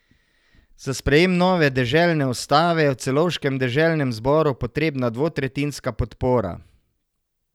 Za sprejem nove deželne ustave je v celovškem deželnem zboru potrebna dvotretjinska podpora.